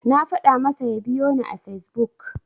Na faɗa masa ya biyoni a Fesbuk.